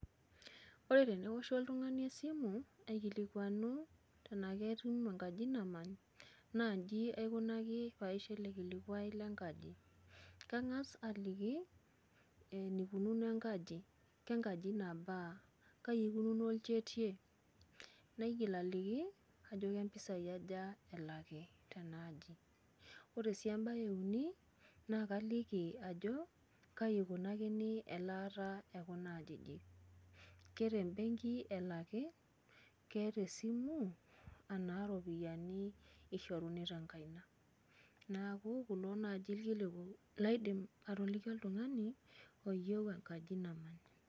ore teneoshu ltungani esimu aikilikuanu tenaa keetae enkaji namany. naa iji aikunaki pee aisho ele kilikuai lenkaji, kang'as aliki enikununo enkaji. kengaji nabaa, kaji ikunuo olchetie, naigil aliki ajo kaji ikununo mpisai, mpisai aja elaki tena aji. ore sii embae euni, naa kaliki ajo kaji ikunakini elaata ekuna ajijik, ke te mbeenki elaki, ke tesimu, anaa iropiyiani ishoruni tenkaina. neeku kulo naaji irkiliku laidim atoliki oltungani oyieu enkaji nabo.